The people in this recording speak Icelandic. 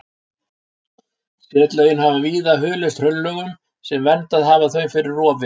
Setlögin hafa víða hulist hraunlögum sem verndað hafa þau fyrir rofi.